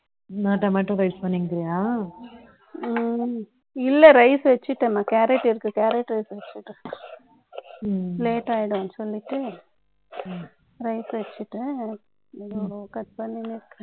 நோட்ட மட்டும் rise பண்ணிருக்கிறியா இல்ல rice வச்சுட்டேன்மா, கேரட் எடுத்துக்க ம், late ஆயிடும்ன்னு சொல்லிட்டு, ம், rice வச்சிட்டு, ம், cut பண்ணுங்க